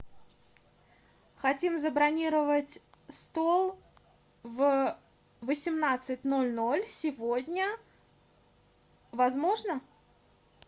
хотим забронировать стол в восемнадцать ноль ноль сегодня возможно